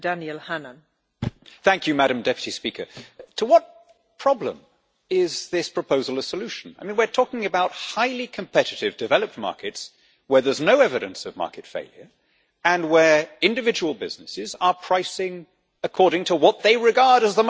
Madam President, to what problem is this proposal a solution? We are talking about highly competitive developed markets where there is no evidence of market failure and where individual businesses are pricing according to what they regard as the most profitable way of doing it.